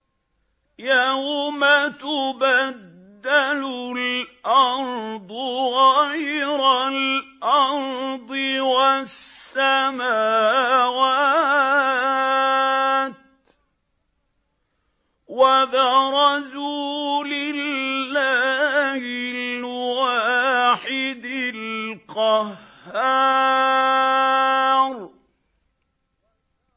يَوْمَ تُبَدَّلُ الْأَرْضُ غَيْرَ الْأَرْضِ وَالسَّمَاوَاتُ ۖ وَبَرَزُوا لِلَّهِ الْوَاحِدِ الْقَهَّارِ